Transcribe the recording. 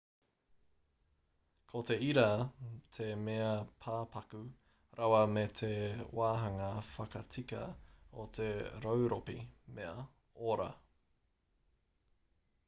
ko te ira te mea pāpaku rawa me te wāhanga whakatika o te rauropi mea ora